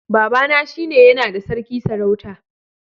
Baba na shi ne ya na da sarki sarauta